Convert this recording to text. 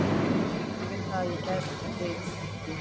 Ég átti ekki við það að ég vildi ekki hafa þig hérna.